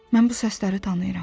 Mən bu səsləri tanıyıram.